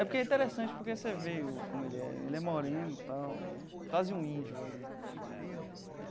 É porque é interessante porque você vê como ele é. Ele é moreno e tal é, quase um índio ali.